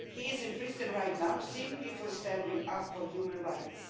He is in prison right now simply for standing up for human rights.